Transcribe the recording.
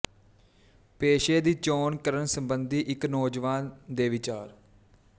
ਪੇਸ਼ੇ ਦੀ ਚੋਣ ਕਰਨ ਸੰਬੰਧੀ ਇੱਕ ਨੌਜਵਾਨ ਦੇ ਵਿਚਾਰ